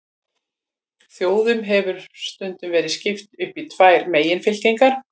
Þjóðum hefur stundum verið skipt upp í tvær meginfylkingar.